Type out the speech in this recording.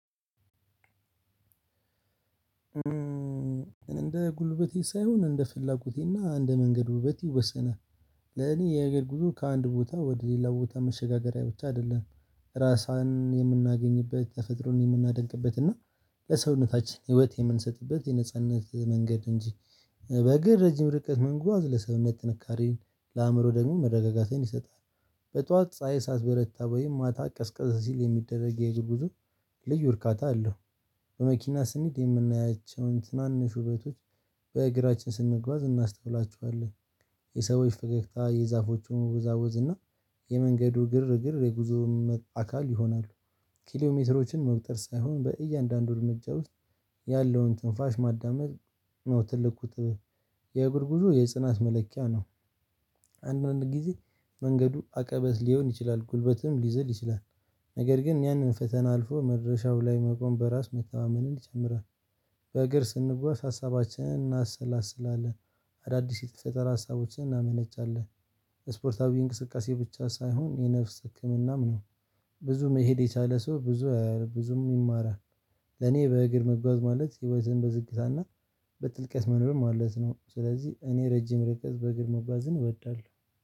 እንደ ጉልበቴ ሳይሆን እንደ ፍላጎቴና እንደ መንገድ ውበት ይወሰናል። ለእኔ የሀገር ጉዞ ከአንድ ቦታ ወደ ሌላ ቦታ መሸጋገሪያ ብቻ አይደለም። ራስን የምናገኝበት ተፈጥሮን የምናደንቅበት እና ለሰውነታችን ህይወት የምንሰጥበት የነጻነት መንገድ እንጂ በእግር ረጅም ርቀት መጓዝ ለሰውነት ጥንካሬን ለአእምሮ ደግሞ መረጋጋትን ይሰጣል። በጧት ፀሀይ ሳትበረታ ወይም ማታ ቀዝቀዝ ሲል የሚደረግ የእግር ጉዞ ልዩ እርካታ አለው። በመኪና ስንሄድ የምናያቸውን ትናንሽ ውበቶች በእግራችን ስንጓዝ እናስተውላቸዋለን። የሰዎች ፈገግታ የዛፎቹም መወዛወዝ እና የመንገዱ ግርግር የጉዞውም አካል ይሆናሉ። ኪሎ ሜትሮችን መቁጠር ሳይሆን በእያንዳንዱ እርምጃ ውስጥ ያለውን ትንፋሽ ማዳመጥ ነው ትልቁ ጥበብ። የእግር ጉዞ የጽናት መለኪያ ነው። አንዳንድ ጊዜ መንገዱ አቀበት ሊሆን ይችላል ጉልበትም ሊዘል ይችላል። ነገር ግን ያንን ፈተና አልፎ መድረሻው ላይ መቆም በራስ መተማመንን ይጨምራል። በእግር ስንጓዝ ሀሳባችንን እናሰላስላለን። አዳዲስ የተፈጠራ ሀሳቦችን እናመነጫለን። ስፖርታዊ እንቅስቃሴ ብቻ ሳይሆን የነፍስ ህክምናም ነው። ብዙ መሄድ የቻለ ሰው ብዙ ብዙም ይማራል። ለኔ በእግር መጓዝ ማለት ህይወትን በዝግታና በጥልቀት መኖር ማለት ነው። ስለዚህ እኔ ረጅም ርቀት በእግር መጓዝን እወዳለሁ